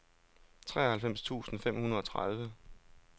treoghalvfems tusind fem hundrede og tredive